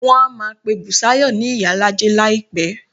Wọ́n á máa pe Bùsáyọ̀ ni ìyálájé láìpẹ́